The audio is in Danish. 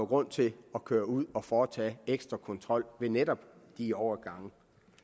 grund til at køre ud og foretage ekstra kontrol ved netop de overgange